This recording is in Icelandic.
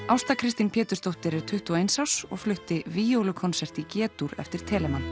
Ásta Kristín Pétursdóttir er tuttugu og eins árs og flutti víólukonsert í g dúr eftir